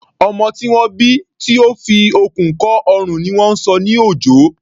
Ọmọ tí wọ́n bí tó fi okùn kọ́ ọrùn ni wọ́n ń sọ ní Òjó.